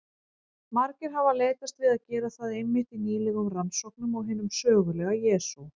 Margir hafa leitast við að gera það einmitt í nýlegum rannsóknum á hinum sögulega Jesú.